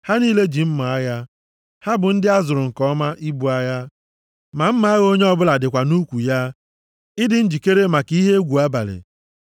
Ha niile ji mma agha; ha bụ ndị a zụrụ nke ọma ibu agha. Mma agha onye ọbụla dịkwa nʼukwu ya, ịdị njikere maka ihe egwu abalị.